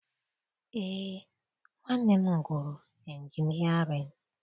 Eé, nwanne m gụrụ injinịarịn